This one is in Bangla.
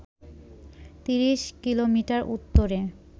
৩০ কিলোমিটার উত্তরে